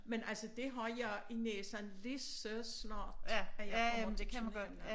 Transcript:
Men altså det har jeg i næsen lige så snart at jeg kommer der sådan hen ad